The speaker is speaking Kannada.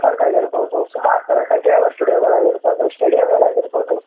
ಕಬ್ಬನ್ ಪಾರ್ಕ್ ಆಗಿರಬಹುದು ಸುಮಾರ ತರ ಕಂಠೀರವ ಸ್ಟುಡಿಯೋ ಗಳು ಆಗಿರಬಹುದು ಸ್ಟೇಡಿಯಂ ಗಳಾಗಿರಬಹುದು.